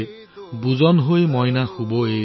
টোপনি যোৱা মোৰ সোণ